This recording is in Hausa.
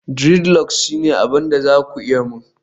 dreadlocks shine abin da za ku yi mani